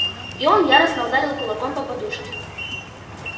и он яростно ударил кулаком по подушке